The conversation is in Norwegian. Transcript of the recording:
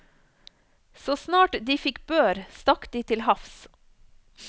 Så snart de fikk bør stakk de til havs.